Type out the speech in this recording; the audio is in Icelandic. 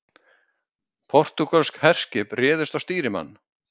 Portúgölsk herskip réðust á stýrimann